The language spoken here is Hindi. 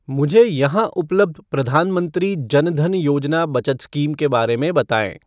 मुझे यहां उपलब्ध प्रधानमंत्री जन धन योजना बचत स्कीम के बारे में बताएँ!